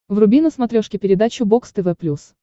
вруби на смотрешке передачу бокс тв плюс